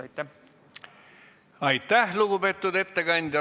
Aitäh, lugupeetud ettekandja!